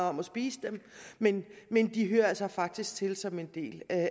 om at spise dem men de hører altså faktisk til som en del af